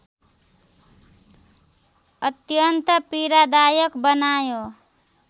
अत्यन्त पीडादायक बनायो